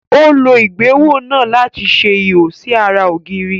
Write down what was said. Ó lo ohùn ìgbéwò náà láti ṣe ihò sí ará ògiri